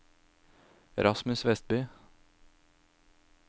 Rasmus Westby